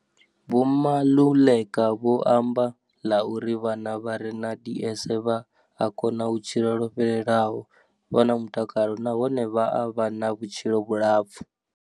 Vho Maluleka vho amba ḽa uri vhana vha re na DS vha a kona u tshila lwo fhelelaho, vha na mutakalo nahone vha a vha na vhutshilo vhulapfu.